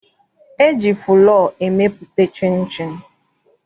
E ji fụlọọ emepụta chịnchịn.